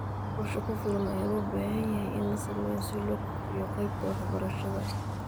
Qorshe ku filan ayaa loo baahan yahay in la sameeyo si loo kobciyo qaybta waxbarashada.